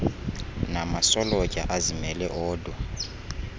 namasolotya azimele odwa